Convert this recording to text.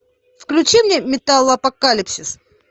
включи мне металлопокалипсис